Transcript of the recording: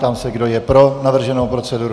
Ptám se, kdo je pro navrženou proceduru.